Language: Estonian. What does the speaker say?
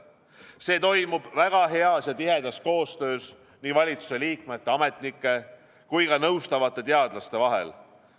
See toimub väga heas ja tihedas koostöös valitsuse liikmete, ametnike ja nõustavate teadlaste vahel.